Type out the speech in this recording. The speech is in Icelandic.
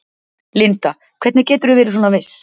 Linda: Hvernig geturðu verið svona viss?